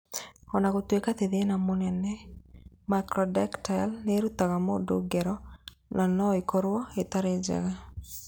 O na gũtuĩka ti thĩna mũnene, macrodactyly nĩ ũrutaga mũndũ ngero na no ĩkorũo ĩtarĩ njega.